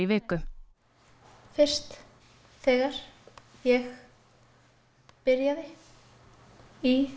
viku fyrst þegar ég byrjaði í